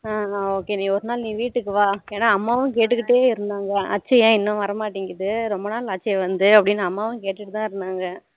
அஹ் okay நீ ஒரு நாள் வீட்டுக்கு வா என்னா அம்மாவும் கேட்டுட்டே இருந்தாங்க அச்சு ஏன் இன்னும் வர மாட்டுக்குது ரொம்ப நாள் ஆச்சி வந்து அப்படினு அம்மாவும் கேட்டுட்டே இருந்தாங்க